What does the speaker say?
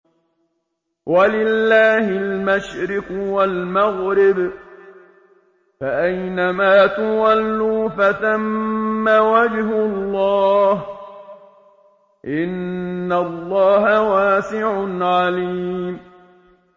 وَلِلَّهِ الْمَشْرِقُ وَالْمَغْرِبُ ۚ فَأَيْنَمَا تُوَلُّوا فَثَمَّ وَجْهُ اللَّهِ ۚ إِنَّ اللَّهَ وَاسِعٌ عَلِيمٌ